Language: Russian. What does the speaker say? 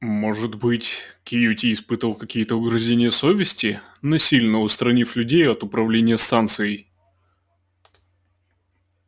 может быть кьюти испытывал какие-то угрызения совести насильно устранив людей от управления станцией